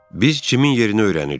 Biz Cimin yerini öyrənirik.